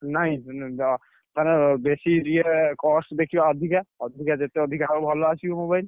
ନାଇଁ ତାର ବେଶୀ ଇଏ cost ଦେଖିବା ଅଧିକା ଅଧିକା ଯେତେ ଅଧିକା ହବ ଭଲ ଆସିବ mobile ।